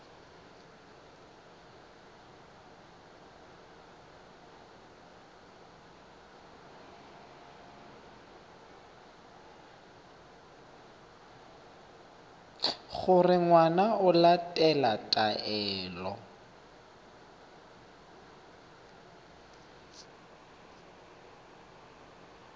gore ngwana o latela taelo